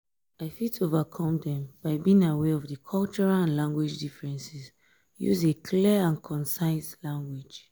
i fit overcome dem by being aware of di cultural and language differences use a clear and concise language.